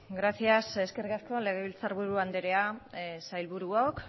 gracias eskerrik asko legebiltzarburu andrea sailburuok